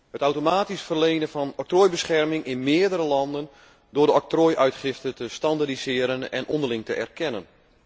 Het automatisch verlenen van octrooibescherming in meerdere landen door de octrooi uitgifte te standaardiseren en onderling te erkennen.